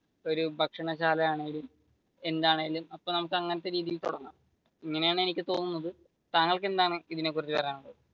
ഒരു ഭക്ഷണശാല ആണെങ്കിലും എന്താണെങ്കിലും ഇങ്ങനെയാണ് എനിക്ക് തോന്നുന്നത്. താങ്കൾക്ക് എന്താണ് ഇതിനെ കുറിച്ച് പറയാനുള്ളത്?